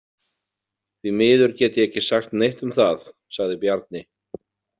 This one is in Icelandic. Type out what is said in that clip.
Því miður get ég ekki sagt neitt um það, sagði Bjarni.